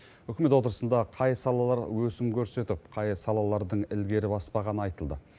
үкімет отырысында қай салалар өсім көрсетіп қай салалардың ілгері баспағаны айтылды